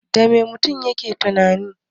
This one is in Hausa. Dame mutum yake tunani?